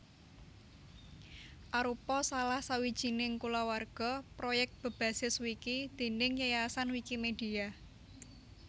Arupa salah sawijining kulawarga proyèk bebasis wiki déning Yayasan Wikimedia